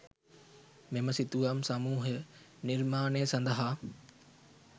මෙම සිතුවම් සමූහය නිර්මාණය සඳහා